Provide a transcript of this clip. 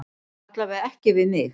Alla vega ekki við mig.